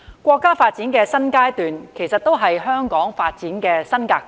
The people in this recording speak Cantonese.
國家發展的新階段也是香港發展的新格局。